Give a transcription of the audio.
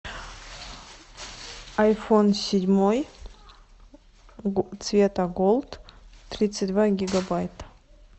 айфон седьмой цвета голд тридцать два гигабайта